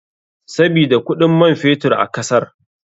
Sabida kuɗin man fetur a kasar.